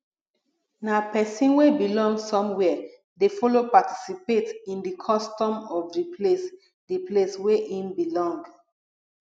na persin wey belong somewhere de follow participate in di custom of di place di place wey im belong